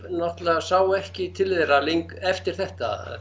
náttúrulega sá ekki til þeirra eftir þetta